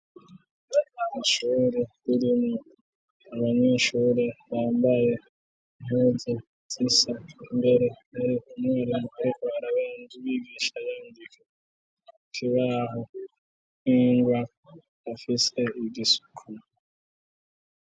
Ishuri ririmwo abanyeshuri bambaye impuzu zisa imbere hariko amajambo yivyigwa yigisha yandika kukibaho ningwa, afise nigisuko